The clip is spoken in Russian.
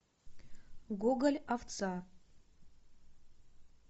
гоголь овца